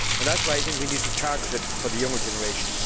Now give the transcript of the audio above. That is why I think we need to target it for the younger generation.